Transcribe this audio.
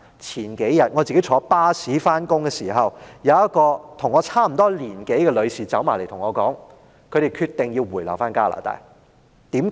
我數天前坐巴士上班的時候，有一位與我年齡相近的女士走過來對我說，他們決定回流加拿大。